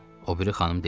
O biri xanım dilləndi.